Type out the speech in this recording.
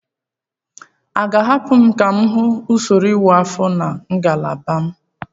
A ga-ahapụ m ka m hụ usoro ịwa ahụ na ngalaba m?